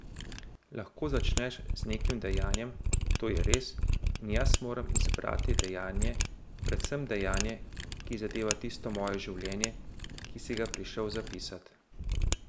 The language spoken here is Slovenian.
Lahko začneš z nekim dejanjem, to je res, in jaz moram izbrati dejanje, predvsem dejanje, ki zadeva tisto moje življenje, ki si ga prišel zapisat.